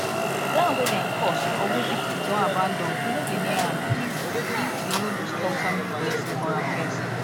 ground wey dem curse or wey people don abandon we no dey near am if if we no do strong family blessing for am first